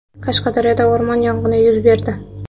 Qashqadaryoda o‘rmon yong‘ini yuz berdi.